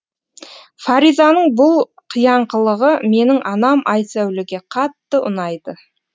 фаризаның бұл қияңқылығы менің анам айсәулеге қатты ұнайды